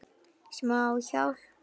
Smá hjálp.